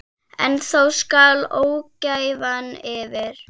En þá skall ógæfan yfir.